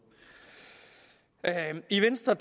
i venstre